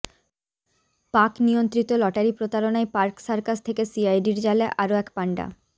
পাক নিয়ন্ত্রিত লটারি প্রতারণায় পার্ক সার্কাস থেকে সিআইডির জালে আরও এক পাণ্ডা